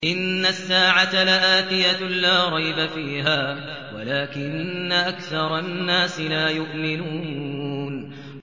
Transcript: إِنَّ السَّاعَةَ لَآتِيَةٌ لَّا رَيْبَ فِيهَا وَلَٰكِنَّ أَكْثَرَ النَّاسِ لَا يُؤْمِنُونَ